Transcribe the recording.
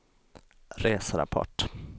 reserapport